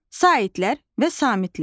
Saitlər və samitlər.